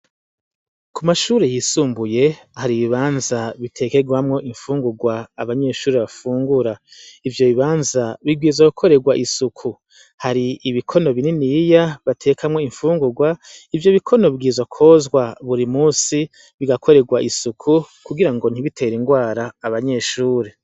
Kumashure yisumbuye har’ibibanza bitekegwamwo infungurwa abanyeshure bafungura. Ivyo bibanza bibwirizwa gukoregwa isuku. Hari ibikono bininiya batekamwo infungugwa. Ivyo bikono bibwirizwa kwozwa buri musi bigakoregwa isuku kugirango ntibitere ingwara abanyeshure.